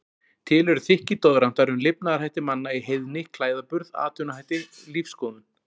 Til eru þykkir doðrantar um lifnaðarhætti manna í heiðni, klæðaburð, atvinnuhætti, lífsskoðun.